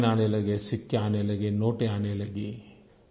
coin आने लगे सिक्के आने लगे नोट आने लगे